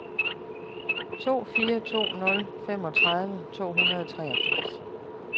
to fire to nul femogtredive to hundrede og treogfirs